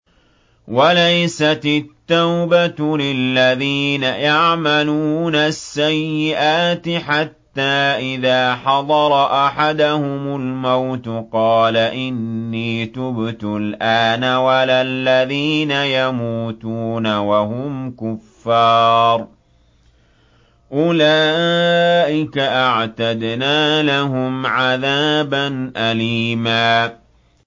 وَلَيْسَتِ التَّوْبَةُ لِلَّذِينَ يَعْمَلُونَ السَّيِّئَاتِ حَتَّىٰ إِذَا حَضَرَ أَحَدَهُمُ الْمَوْتُ قَالَ إِنِّي تُبْتُ الْآنَ وَلَا الَّذِينَ يَمُوتُونَ وَهُمْ كُفَّارٌ ۚ أُولَٰئِكَ أَعْتَدْنَا لَهُمْ عَذَابًا أَلِيمًا